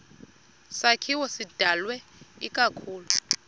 sakhiwo sidalwe ikakhulu